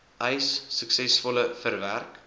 eis suksesvol verwerk